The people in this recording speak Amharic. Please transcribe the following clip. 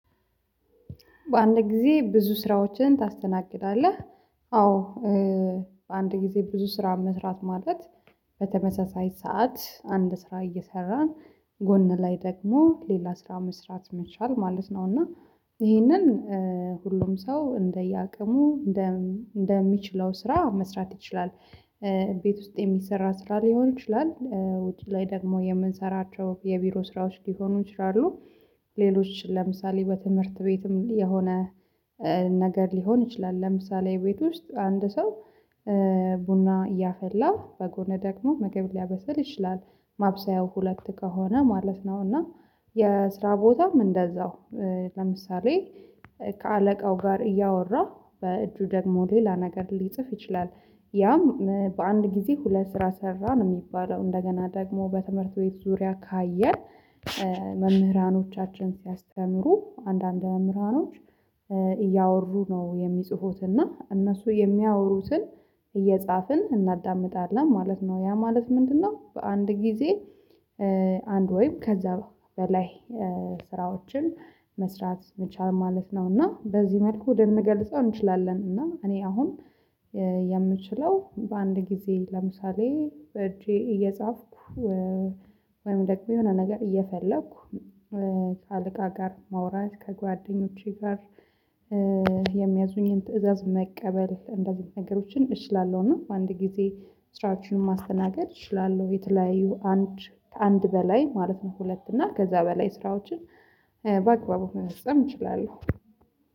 በአንድ ጊዜ ብዙ ስራዎችን ታስተናግዳለህ? አዎ። በአንድ ጊዜ ብዙ ስራ መስራት ማለት በተመሳሳይ ሰዓት አንድ ስራ እየሰራን ጎን ላይ ደግሞ ሌላ ስራ መስራት መቻል ማለት ነው እና ይሄንን ሁሉም ሰው እንደየአቅሙ እንደ እንደሚችለው ስራ መስራት ይችላል። ቤት ውስጥ የሚሰራ ስራ ሊሆን ይችላል ውጪ ላይ ደግሞ የምንሰራቸው የቢሮ ስራዎች ሊሆኑ ይችላሉ። ሌሎች ለምሳሌ በትምህርት ቤትም የሆነ ነገር ሊሆን ይችላል ለምሳሌ ቤት ውስጥ አንድ ሰው ቡና እያፈላ በጎን ደግሞ ምግብ ሊያበሰል ይችላል ማብሰያው ሁለት ከሆነ ማለት ነው። እና የስራ ቦታም እንደዚያው ለምሳሌ ከአለቃው ጋር እያወራ በእጁ ደግሞ ሌላ ነገር ሊጽፍ ይችላል። ያም በአንድ ጊዜ ሁለት ስራ ሰራ ነው የሚባለው እንደገና ደግሞ በትምህርት ቤት ዙሪያ ካየን። መምህራኖቻችን ሲያስተምሩ አንዳንድ መምህራኖች እያወሩ ነው የሚጽፉት እና እነሱ የሚያወሩትን እየጻፍን እናዳምጣለን ማለት ነው። ያ ማለት ምንድነው? በአንድ ጊዜ አንድ ወይም ከዚያ በላይ ስራዎችን መስራት መቻል ማለት ነው። እና በዚህ መልኩ ልንገልጸው እንችላለን እና እኔ አሁን የምችለው በአንድ ጊዜ ለምሳሌ በእጄ እየጻፍኩ ወይም ደግሞ የሆነ ነገር እየፈለኩ ከአለቃ ጋር ማውራት ከጓደኞቼ ጋር የሚያዙኝን ትእዛዝ መቀበል እንደዚህ ነገሮችን እችላለሁ። እና በአንድ ጊዜ ስራችንን ማስተናገድ እችላለሁ የተለያዩ አንድ ከአንድ በላይ ማለት ነው ሁለት እና ከዚያ በላይ ስራዎችን በአግባቡ መፈፃም እችላለሁ።